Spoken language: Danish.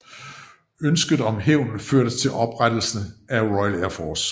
Ønsket om hævn førte til oprettelse af RAF